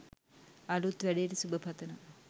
අලුත් වැඩේට සුබ පතනවා.